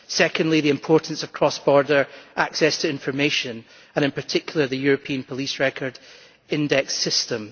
Secondly, the importance of cross border access to information and in particular the European police record index system.